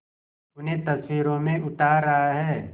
उन्हें तस्वीरों में उतार रहा है